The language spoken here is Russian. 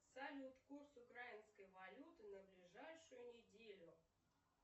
салют курс украинской валюты на ближайшую неделю